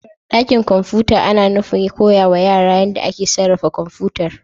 Dakin kwamfuta ana nufin koya wa yara yadda ake sarrafa kwamfutar